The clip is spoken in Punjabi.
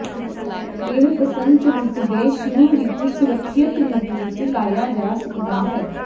ਇਹ ਬਸੰਤ ਰੁੱਤ ਦੇ ਸ਼ੁਰੂ ਵਿੱਚ ਸੁਰੱਖਿਅਤ ਰੂਪ ਵਿੱਚ ਲਾਇਆ ਜਾ ਸਕਦਾ ਹੈ